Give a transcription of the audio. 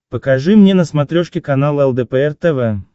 покажи мне на смотрешке канал лдпр тв